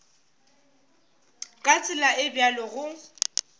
ka tsela e bjalo go